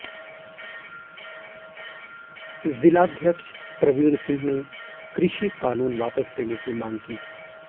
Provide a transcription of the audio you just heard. जिलाध्यक्ष प्रवीण सिंह ने कृषि कानून वापस लेने की मांग की